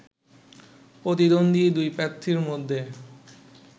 প্রতিদ্বন্দ্বী দুই প্রার্থীর মধ্যে